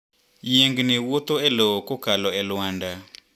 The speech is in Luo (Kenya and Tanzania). Yiengni wuotho e lowo kokalo e lwanda.